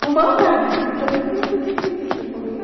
Por maldade, porque eu não sei por que fez isso comigo.